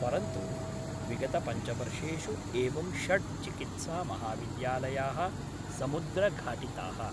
परंतु विगतपञ्चवर्षेषु एवं षड् चिकित्सामहाविद्यालयाः समुद्रघाटिताः।